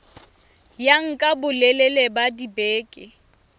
ya nka bolelele ba dibeke